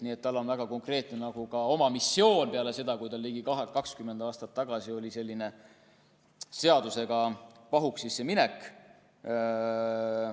Nii et tal on väga konkreetne oma missioon olnud peale seda, kui ta ligi 20 aastat tagasi läks seadusega pahuksisse.